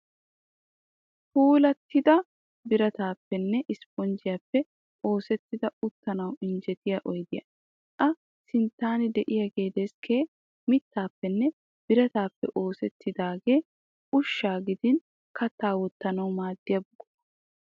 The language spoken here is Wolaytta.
Puulattida birataaappenne isiponjjiyaappe oosettida uttanawu injjetiya oyidiya. A sinttan diyaagee deskke mittaappenne birataappe oosettidaagee ushshaa gidin kattaa wottanawu maaddiya buqura.